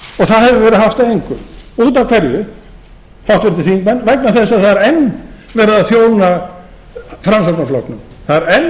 það hefur verið haft að engu út af hverju háttvirtir þingmenn vegna þess að það er enn verið að þjóna framsóknarflokknum það er enn verið